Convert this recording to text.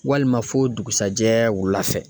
Walima fo dugusajɛ wula fɛ